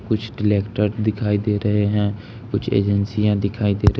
कुछ ट्रेक्टर दिखाई दे रहे हैं कुछ एजेंसीया दिखाई दे रही--